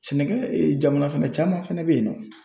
Sɛnɛkɛ jamana fɛnɛ caman fɛnɛ bɛyeinnɔ.